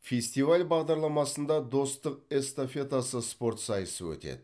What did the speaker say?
фестиваль бағдарламасында достық эстафетасы спорт сайысы өтеді